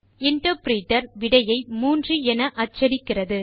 interpreter விடையை 3 என அச்சடிக்கிறது